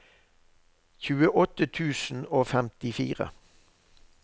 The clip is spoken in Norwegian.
tjueåtte tusen og femtifire